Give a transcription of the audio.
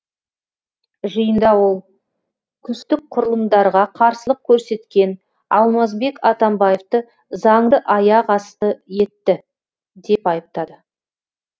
жиында ол күштік құрылымдарға қарсылық көрсеткен алмазбек атамбаевты заңды аяқ асты етті деп айыптады